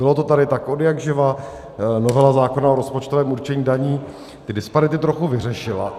Bylo to tady tak odjakživa, novela zákona o rozpočtovém určení daní ty disparity trochu vyřešila.